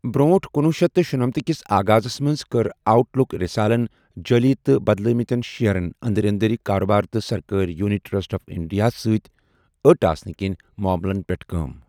بر٘ونٹھہ کنوُہ شیتھ تہٕ شُنمتھہٕ کِس آغازس منٛز، كٕر آؤٹ لُک رِسالن جٲلی تہٕ بدلٲوِمٕتین شِیرن ،اندری اندری كاربار ، تہٕ سرکٲرۍ یونٹ ٹرسٹ آف انڈیا ہَس سۭتۍ ٲٹ آسنہٕ كِنۍ معملن پیٹھ كٲم ۔